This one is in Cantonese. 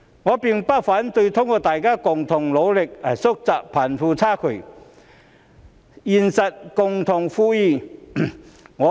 我並不反對通過大家的共同努力來縮窄貧富差距，實現共同富裕。